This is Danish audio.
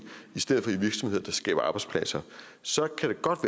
i stedet for i virksomheder der skaber arbejdspladser så